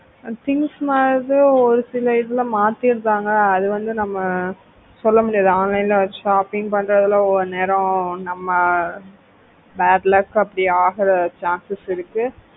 things மாறுது ஒரு சில இதுல மாத்திடுறாங்க அது வந்து நம்ம சொல்ல முடியாது online ல shopping பண்றதுல ஒரு நேரம் நம்ம அஹ் bad luck அப்படி ஆகுற chances இருக்கு